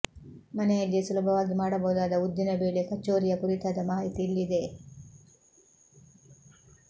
ಮನೆಯಲ್ಲಿಯೇ ಸುಲಭವಾಗಿ ಮಾಡಬಹುದಾದ ಉದ್ದಿನ ಬೇಳೆ ಕಚೋರಿಯ ಕುರಿತಾದ ಮಾಹಿತಿ ಇಲ್ಲಿದೆ